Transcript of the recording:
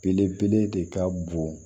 Belebele de ka bon